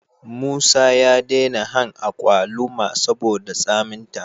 Musa ya dena han akwaluma saboda tsamin ta